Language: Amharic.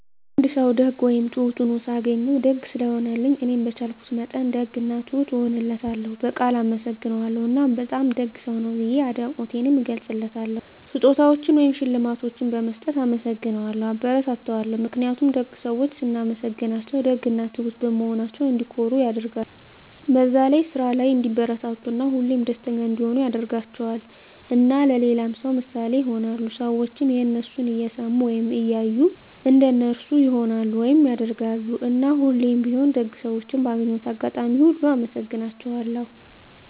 አንድ ሰዉ ደግ ወይም ትሁት ሁኖ ሳገኘዉ፤ ደግ ስለሆነልኝ እኔም በቻልኩት መጠን ደግ እና ትሁት እሆንለታለሁ፣ በቃል አመሰግነዋለሁ እና በጣም ደግ ሰዉ ነህ ብዬ አድናቆቴንም እገልፅለታለሁ። ስጦታዎችን ወይም ሽልማቶችን በመስጠት እናመሰግነዋለሁ (አበረታታዋለሁ) ። ምክንያቱም ደግ ሰዎችን ስናመሰግናቸዉ ደግ እና ትሁት በመሆናቸዉ እንዲኮሩ ያደርጋቸዋል፣ በዛ ስራ ላይ እንዲበረታቱ እና ሁሌም ደስተኛ እንዲሆኑ ያደርጋቸዋል። እና ለሌላ ሰዉ ምሳሌ ይሆናሉ። ሰዎችም የነሱን እየሰሙ ወይም እያዩ እንደነሱ ይሆናሉ (ያደርጋሉ)። እና ሁሌም ቢሆን ደግ ሰዎችን ባገኘሁት አጋጣሚ ሁሉ አመሰግናቸዋለሁ።